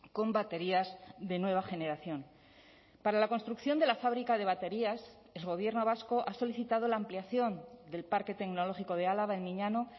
con baterías de nueva generación para la construcción de la fábrica de baterías el gobierno vasco ha solicitado la ampliación del parque tecnológico de álava en miñano